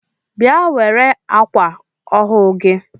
Bịa were akwa ọhụụ gị!